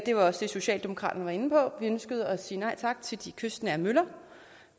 var også det socialdemokraterne var inde på vi ønskede at sige nej tak til de kystnære møller